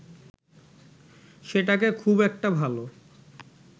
সেটাকে খুব একটা ভালো